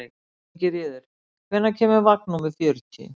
Ingiríður, hvenær kemur vagn númer fjörutíu?